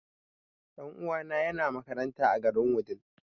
Ɗan uwana ya na makaranta a garin Wudil